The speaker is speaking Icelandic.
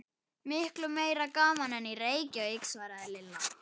Miklu meira gaman en í Reykjavík svaraði Lilla.